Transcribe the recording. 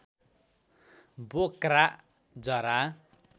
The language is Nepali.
बोक्रा जरा